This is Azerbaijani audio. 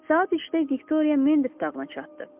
Saat üçdə Viktoriya Mendif dağına çatdı.